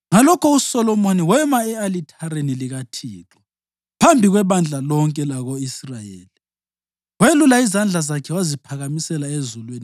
Ngalokho uSolomoni wema e-alithareni likaThixo phambi kwebandla lonke lako-Israyeli, welula izandla zakhe waziphakamisela ezulwini